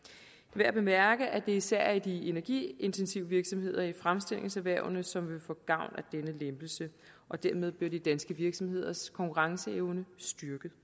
værd at bemærke at det især er de energiintensive virksomheder i fremstillingserhvervene som vil få gavn af denne lempelse dermed bliver de danske virksomheders konkurrenceevne styrket